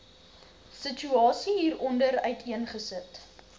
situasie hieronder uiteengesit